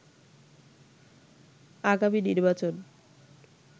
আগামী নির্বাচন